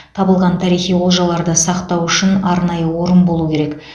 табылған тарихи олжаларды сақтау үшін арнайы орын болу керек